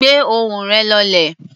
Gbé ohùn rẹ̀ lọlẹ̀.